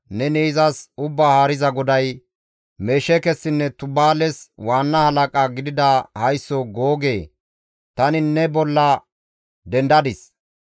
Neni izas Ubbaa Haariza GODAY, ‹Mesheekessinne Tubaales waanna halaqa gidida haysso Googe tani ne bolla dendadis.